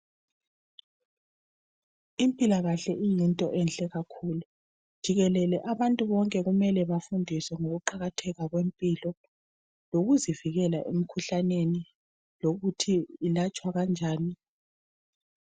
Impilakahle yinto enhle kakhulu .Jikelele abantu bonke kumele bafundiswe ngokuqakatheka kwempilo lokuzivikela emikhuhlaneni lokuthi ilatshwa njani.